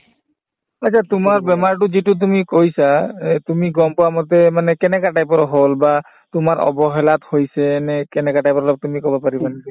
অ, এতিয়া তোমাৰ বেমাৰটো যিটো তুমি কৈছা এহ্ তুমি গম পোৱা মতে মানে কেনেকা type ৰ হল বা তোমাৰ অৱহেলাত হৈছে নে কেনেকা type ৰ অলপ তুমি কব পাৰিবা নেকি ?